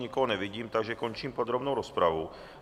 Nikoho nevidím, takže končím podrobnou rozpravu.